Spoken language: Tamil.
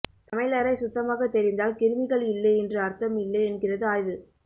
சமையலறை சுத்தமாக தெரிந்தால் கிருமிகள் இல்லை என்று அர்த்தம் இல்லை என்கிறது ஆய்வு